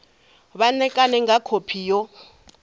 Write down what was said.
vha ṋekane nga khophi yo